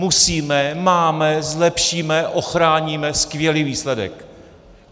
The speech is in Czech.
Musíme, máme, zlepšíme, ochráníme, skvělý výsledek.